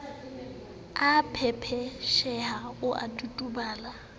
a pepeseha o a totobala